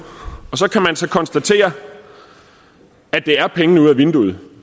og så kan man så konstatere at det er penge ud ad vinduet